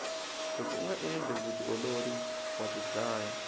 loko unga endli vutiolori wa tidlaya